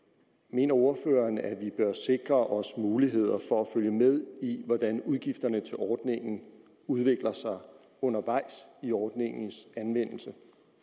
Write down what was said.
mener ordføreren at vi bør sikre os muligheder for at følge med i hvordan udgifterne til ordningen udvikler sig undervejs ved ordningens anvendelse